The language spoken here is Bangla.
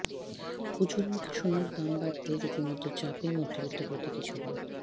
পুজোর মুখে সোনার দাম বাড়তে রীতিমত চাপে মধ্যবিত্ত প্রতীকী ছবি